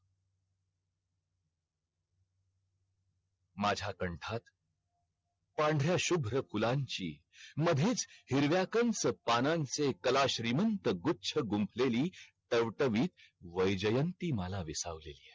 माझा कंठात पांढर्या शुभ्र फुलांची मधेच हिरव्या कंच पानांनचे कला श्रीमंत गुच्छ गुंतलेली टवटवी वैजयंती माला विसावलेली है